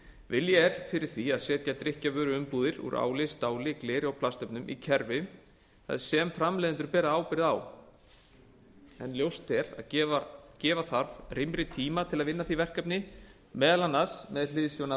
vilji er fyrir því að setja drykkjarvöruumbúðir úr áli stáli gleri og plastefnum í kerfi sem framleiðendur bera ábyrgð á en ljóst er að gefa þarf rýmri tíma til að vinna að því verkefni meðal annars með hliðsjón af